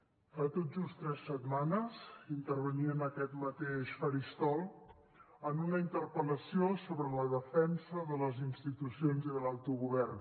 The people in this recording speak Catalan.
fa tot just tres setmanes intervenia en aquest mateix faristol en una interpel·lació sobre la defensa de les institucions i de l’autogovern